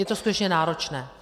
Je to skutečně náročné.